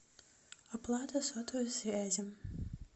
оплата сотовой связи